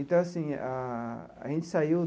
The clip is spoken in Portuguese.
Então, assim, a a gente saiu...